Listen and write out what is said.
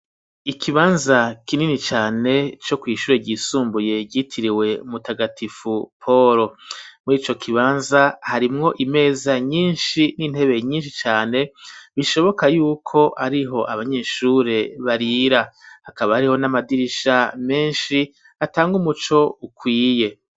Ikibanza kinini cane co kw'ishure ryisumbuye ryitiriwe mu tagatifu paul muri ico kibanza harimwo imeza nyishi n'intebe nyishi cane bishoboka yuko ariho abanyeshure barira hakaba hariho n'amadirisha meshi atanga umuco ukwiye